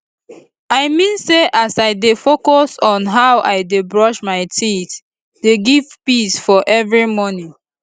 i mean say as i dey focus on how i dey brush my teethe dey give peace for every morning